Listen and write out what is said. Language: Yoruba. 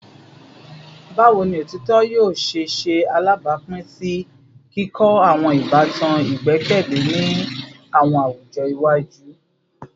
Bawo ni otitọ yoo ṣe ṣe alabapin si kikọ awọn ibatan igbẹkẹle ni awọn awujọ iwaju?